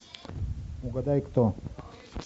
угадай кто